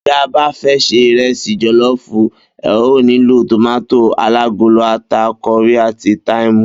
Bí e̩ bá fé̩ se ìrẹsì jò̩ló̩ò̩fù, e̩ óò nílò tòmátò alágolo, ata, ko̩rí àti táìmù